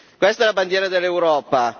questa è la bandiera dell'Europa